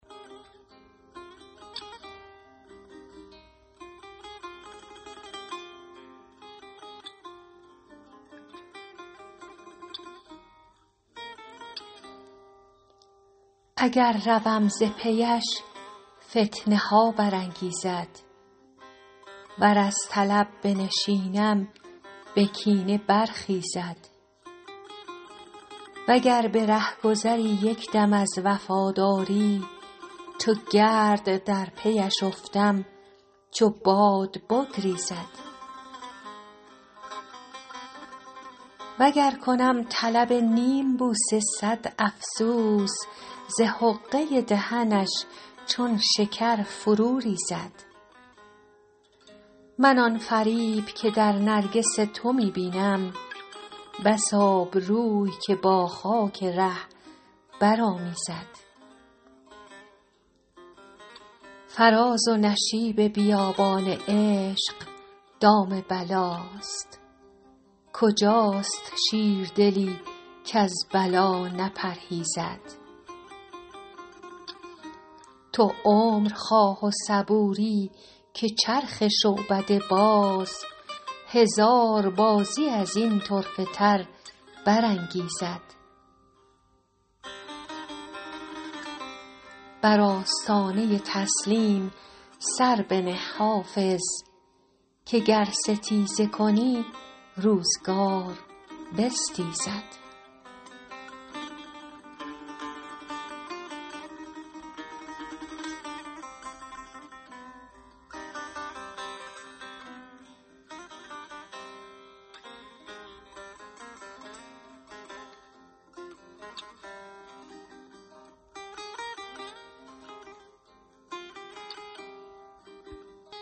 اگر روم ز پی اش فتنه ها برانگیزد ور از طلب بنشینم به کینه برخیزد و گر به رهگذری یک دم از وفاداری چو گرد در پی اش افتم چو باد بگریزد و گر کنم طلب نیم بوسه صد افسوس ز حقه دهنش چون شکر فرو ریزد من آن فریب که در نرگس تو می بینم بس آبروی که با خاک ره برآمیزد فراز و شیب بیابان عشق دام بلاست کجاست شیردلی کز بلا نپرهیزد تو عمر خواه و صبوری که چرخ شعبده باز هزار بازی از این طرفه تر برانگیزد بر آستانه تسلیم سر بنه حافظ که گر ستیزه کنی روزگار بستیزد